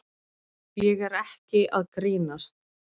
Ég er ekki að grínast.